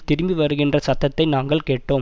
திரும்பி வருகின்ற சத்தத்தை நாங்கள் கேட்டோம்